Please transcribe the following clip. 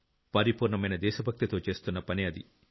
పరిపూర్ణమైన దేశ భక్తితో చేస్తున్న పని అది